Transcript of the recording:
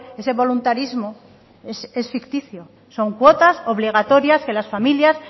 ese voluntarismo es ficticio son cuotas obligatorias que las familias